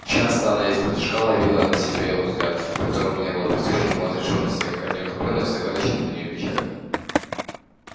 часто она исподтишка ловила на себе его взгляд в котором не было присущей ему отрешённости а какая-то неутолённость и загадочная для нее печаль